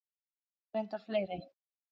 Og reyndar fleiri.